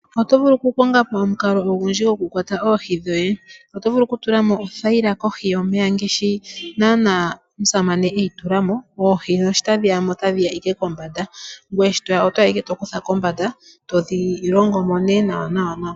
Oto vulu okukonga po omukalo gokukwata oohi dhoye. Oto vulu okutula mo othayila kohi yomeya, oohi shi tadhi ya mo otadhi ya ashike kombanda ngoye i to ya oto ya owala to kutha kombanda to dhi longo mo ihe nawanawa.